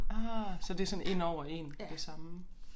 Ah så det sådan indover én det samme